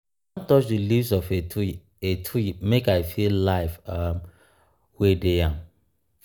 i wan touch di leaves of a tree a tree make i feel life um wey dey am.